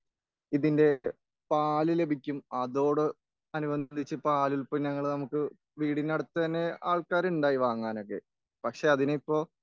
ഇതിന്റെ പാല് ലഭിക്കും അതോട് അനുബന്ധിച്ച് പാലുല്പന്നങ്ങൾ നമുക്ക് വീടിന്റെ അടുത്ത് തന്നെ ആൾക്കാറുണ്ടായി വാങ്ങാനൊക്കെ.പക്ഷെ അതിനിപ്പോൾ